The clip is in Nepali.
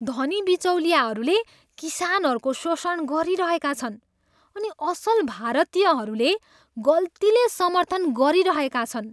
धनी बिचौलियाहरूले किसानहरूको शोषण गरिरहेका छन् अनि असल भारतीयहरूले गल्तीले समर्थन गरिरहेका छन्।